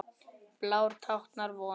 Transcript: Blár táknar von.